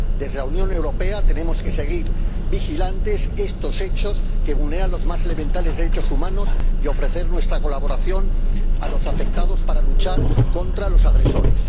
Desde la Unión Europea tenemos que seguir vigilantes estos hechos que vulneran los más elementales derechos humanos y ofrecer nuestra colaboración a los afectados para luchar contra los agresores.